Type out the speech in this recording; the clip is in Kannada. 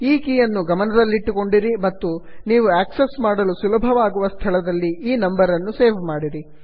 ಈ ಕೀಯನ್ನು ಗಮನದಲ್ಲಿಟ್ಟುಕೊಂಡಿರಿ ಮತ್ತು ನೀವು ಆಕ್ಸಸ್ ಮಾಡಲು ಸುಲಭವಾಗುವ ಸ್ಥಳದಲ್ಲಿ ಈ ನಂಬರ್ ಅನ್ನು ಸೇವ್ ಮಾಡಿರಿ